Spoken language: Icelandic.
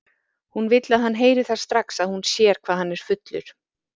Hún vill að hann heyri það strax að hún sér hvað hann er fullur.